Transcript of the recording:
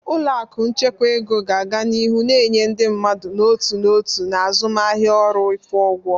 Ụlọ akụ nchekwa ego ga-aga n'ihu na-enye ndị mmadụ n'otu n'otu na azụmaahịa ọrụ ịkwụ ụgwọ.